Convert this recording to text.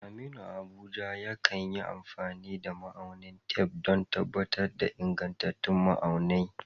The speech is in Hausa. Aminu, a Abuja, yakan yi amfani da ma'aunin tef don tabbatar da ingantattun ma'auni.